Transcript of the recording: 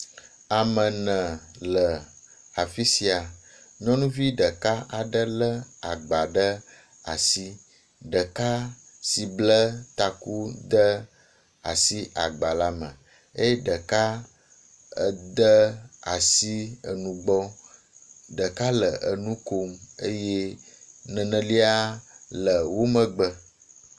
Ame ene le afi sia. Nyɔnuvi ɖeka aɖe le agba ɖe asi. Ɖeka si ble taku de asi agba la me eye ɖeka ede asi enugbɔ. Ɖeka le enu kom eye nenelia le wo megbe.